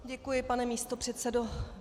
Děkuji, pane místopředsedo.